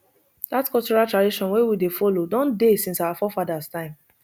dat cultural tradition wey we dey follow don dey since our forefathers time